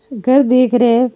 घर दीख रे है।